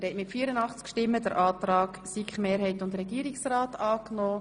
Sie haben den Antrag SiK-Mehrheit und Regierungsrat angenommen.